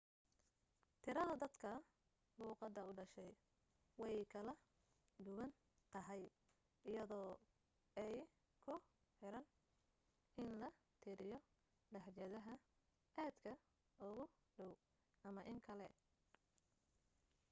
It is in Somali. tirada dadka luuqadda u dhashay way kala duwan tahay iyadoo ay ku xiran in la tiriyo lahjadaha aadka ugu dhow ama in kale